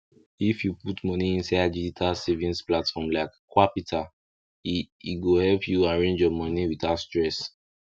if you put moni inside digital savings platform like qapital e e go help you arrange your moni without stress